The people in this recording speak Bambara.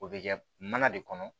O bɛ kɛ mana de kɔnɔ